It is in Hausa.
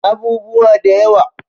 Abubuwa da yawa